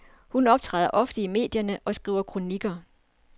Hun optræder ofte i medierne og skriver kronikker.